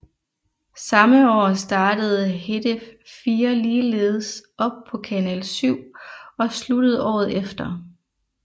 Samme år startede Hedef 4 ligeledes op på Kanal 7 og sluttede året efter